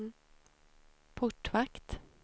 portvakt